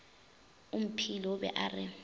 omphile o be a re